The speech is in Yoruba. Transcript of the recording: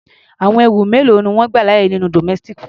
Àwọn ẹrù mélòó ni wọ́n gbà láàyè nínú domestic flight?